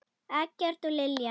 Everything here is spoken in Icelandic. Eggert og Lilja.